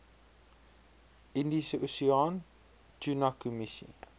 indiese oseaan tunakommissie